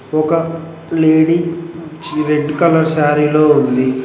ఒక లేడీ చి red colour సారీలో ఉంది.